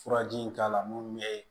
Furaji in k'a la mun ye